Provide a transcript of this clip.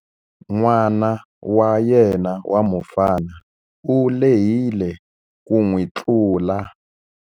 N'wana wa yena wa mufana u lehile ku n'wi tlula.